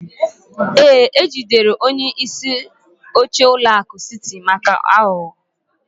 Ee, ejidere onye isi oche ụlọ akụ City maka aghụghọ